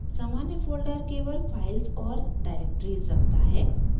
सामान्य folder केवल files और directories रखता है